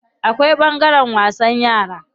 Akwai ɓangaren wasan yara.